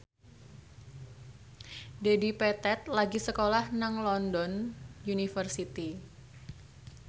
Dedi Petet lagi sekolah nang London University